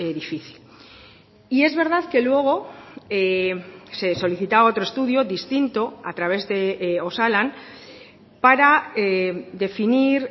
difícil y es verdad que luego se solicitaba otro estudio distinto a través de osalan para definir